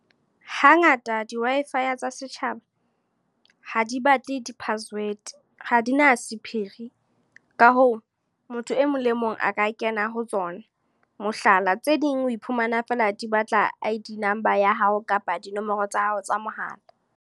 Hangata di-Wi-Fi tsa setjhaba. Ha di batle di-password, ha di na sephiri. Ka hoo, motho e mong le mong a ka kena ho tsona. Mohlala, tse ding o iphumana fela di batla I_D number ya hao kapa dinomoro tsa hao tsa mohala.